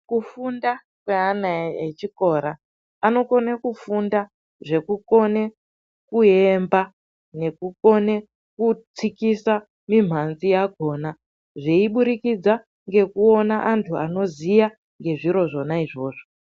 Kufunda kweana echikora anokona kufunda Zvekukone kuemba nekukone kutsikisa mimhanzi yakhona zveiburikidza ngekuona antu anoziya ngezviro zvona izvozvo.